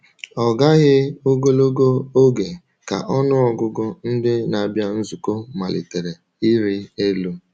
Ọ gaghị ogologo oge ka ọnụ ọgụgụ ndị na-abịa nzukọ malitere ịrị elu.